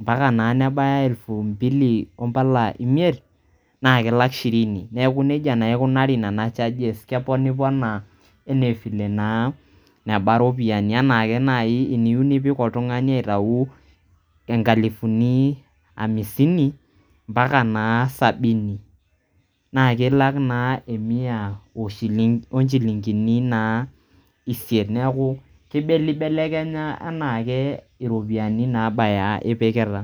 mpaka naa nebaya elfu mbili ompala imiet na kelak shirini neaku na nejia naa ikunari nena charges keponiponaa enee file naa nebaa iropiyiani anaake nai iniyieu nipik oltungani aitayu enkalifuni hamsini mpaka naa sabini naa kelak naa emia onchilingini naa isiet neku kibelebelekenya anaake iropiyiani naabaya ipikita.